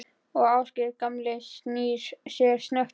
Og Ásgeir gamli snýr sér snöggt við.